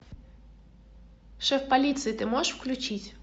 шеф полиции ты можешь включить